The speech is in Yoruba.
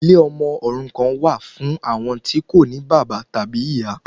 Ilé ọmọ òrukan wà fún àwọn tí kò ní bàbá tàbí ìyá